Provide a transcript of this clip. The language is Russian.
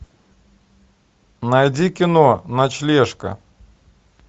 найди кино ночлежка